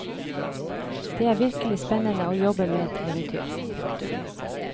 Det er virkelig spennende å jobbe med et eventyr. punktum